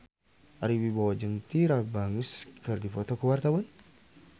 Ari Wibowo jeung Tyra Banks keur dipoto ku wartawan